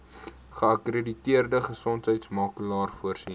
geakkrediteerde gesondheidsorgmakelaar voorsien